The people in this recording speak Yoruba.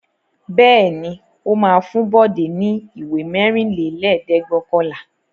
Bẹ́ẹ̀ ni, ó máa fún Bọ̀dé ní ìwé mẹ́rìnlélẹ́ẹ̀dẹ́gbẹ̀ọ̀kànlá.